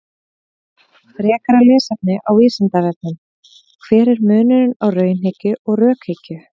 Frekara lesefni á Vísindavefnum: Hver er munurinn á raunhyggju og rökhyggju?